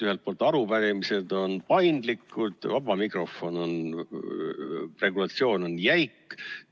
Ühelt poolt arupärimised on paindlikud, vaba mikrofoni regulatsioon aga jäik.